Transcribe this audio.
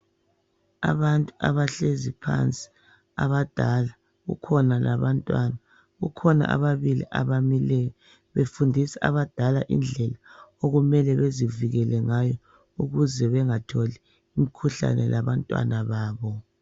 Abantu abahlezi phansi abadala kukhona labantwana kukhona ababili abamileyo befundisa abadala izinto okumele bezivikele ngayo ukuze bengatholi imkhuhlane labantwana babo.